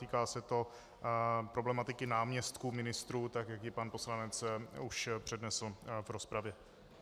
Týká se to problematiky náměstků ministrů, tak jak ji pan poslanec už přednesl v rozpravě.